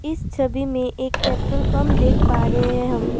इस छवि मे एक पेट्रोल पंप देख पा रहे है हम।